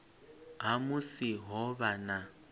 ha musi ho vha na